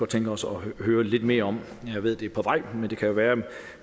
tænke os at høre lidt mere om jeg ved at det er på vej men det kan jo være at